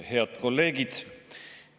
Head kolleegid!